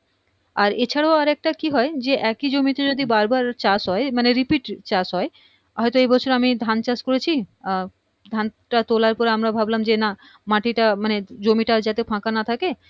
আর এ ছাড়াও আর একটা কি হয় যে একি জমিতে যদি বার বার চাষ হয় মানে repeat চাষ হয় হয়তো এই বছর আমি ধান চাষ করেছি আ ধান টা তোলার পর আমরা ভাবলাম যে না মাটিটা মানে জমিটা যাতে ফাঁকা না থাকে